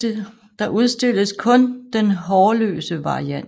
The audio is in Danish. Der udstilles kun den hårløse variant